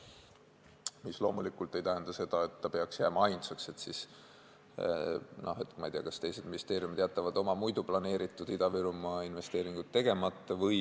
See loomulikult ei tähenda seda, et see peaks jääma ainsaks, et, ma ei tea, teised ministeeriumid jätaksid oma planeeritud Ida-Virumaa investeeringud tegemata.